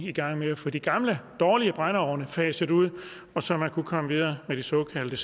i gang med at få de gamle dårlige brændeovne faset ud så man kunne komme videre med de såkaldte